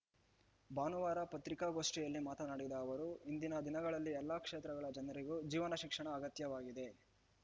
ಭಾನುವಾರ ಪತ್ರಿಕಾಗೋಷ್ಠಿಯಲ್ಲಿ ಮಾತನಾಡಿದ ಅವರು ಇಂದಿನ ದಿನಗಳಲ್ಲಿ ಎಲ್ಲಾ ಕ್ಷೇತ್ರಗಳ ಜನರಿಗೂ ಜೀವನ ಶಿಕ್ಷಣ ಅಗತ್ಯವಾಗಿದೆ